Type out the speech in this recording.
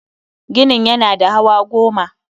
Ginin yana da hawa goma